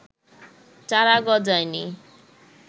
চারা গজায়নি